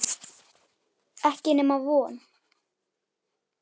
Ekki nema von.